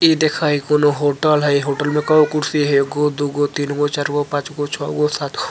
ई देखय कोनो होटल हेय होटल में कोय कुर्सी हेय एगो दू गो तीन गो चार गो पांच गो छ गो सा --